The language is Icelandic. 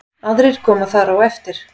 Aðrir koma þar á eftir.